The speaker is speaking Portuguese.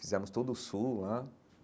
Fizemos todo o sul lá.